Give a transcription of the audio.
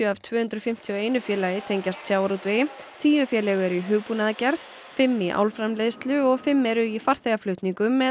af tvö hundruð fimmtíu og einn félagi tengjast sjávarútvegi tíu félög eru í hugbúnaðargerð fimm í álframleiðslu og fimm eru í farþegaflutningum með